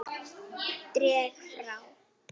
Dreg frá.